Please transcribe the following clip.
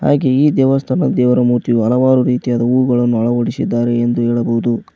ಹಾಗೆ ಈ ದೇವಸ್ಥಾನ ದೇವರ ಮೂರ್ತಿ ಹಲವಾರು ರೀತಿಯಾದ ಹೂಗಳನ್ನು ಅಳವಡಿಸಿದ್ದಾರೆ ಎಂದು ಹೇಳಬಹುದು.